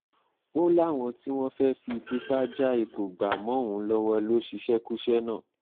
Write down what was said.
ó láwọn tí wọ́n fẹ́ẹ́ fi tipa já ipò gbà mọ́ òun lọ́wọ́ lọ ṣíṣekúṣe náà